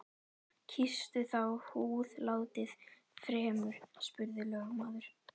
Kýstu þá húðlátið fremur, spurði lögmaður.